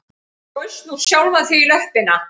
Þú skaust nú sjálfan þig í löppina